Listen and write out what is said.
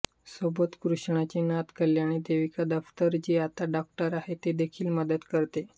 सोबत कृष्णाची नात कल्याणी देविका दफ्तर जी आता डॉक्टर आहे ती देखील मदत करते